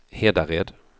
Hedared